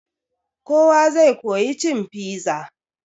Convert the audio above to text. Kowa zai koya cin piza.